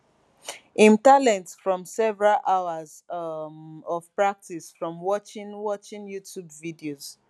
im talent from several hours um of practice from watching watching youtube videos